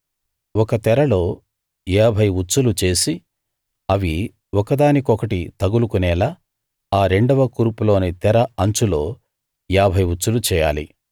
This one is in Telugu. ఒక తెరలో ఏభై ఉచ్చులు చేసి అవి ఒకదానికొకటి తగులుకునేలా ఆ రెండవ కూర్పులోని తెర అంచులో ఏభై ఉచ్చులు చేయాలి